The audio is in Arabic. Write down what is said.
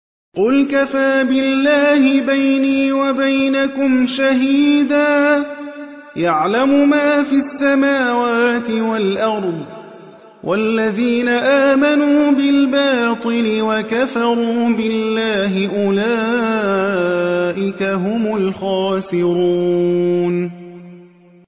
قُلْ كَفَىٰ بِاللَّهِ بَيْنِي وَبَيْنَكُمْ شَهِيدًا ۖ يَعْلَمُ مَا فِي السَّمَاوَاتِ وَالْأَرْضِ ۗ وَالَّذِينَ آمَنُوا بِالْبَاطِلِ وَكَفَرُوا بِاللَّهِ أُولَٰئِكَ هُمُ الْخَاسِرُونَ